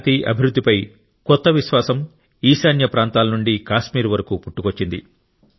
శాంతి అభివృద్ధిపై కొత్త విశ్వాసం ఈశాన్య ప్రాంతాల నుండి కాశ్మీర్ వరకు పుట్టుకొచ్చింది